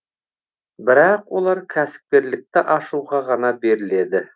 бірақ олар кәсіпкерлікті ашуға ғана беріледі